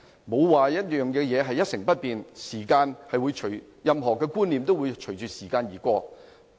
沒有事情會一成不變，任何觀念都會隨着時間而改變。